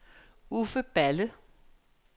Uffe Balle